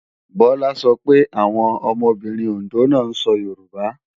Bọlá sọ pé àwọn ọmọbìnrin Òndó náà sọ Yorùbá